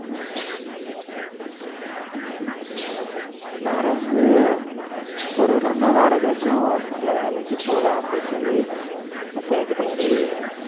வேற வந்து ஒரு வருஷமா வேற ஏதாச்சும் நல்ல வேலைக்கு போலாம் அப்படின்னு சொல்லி தேடி தேடி